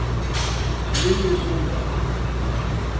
Lilly Solberg